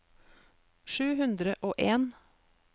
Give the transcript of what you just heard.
sju hundre og en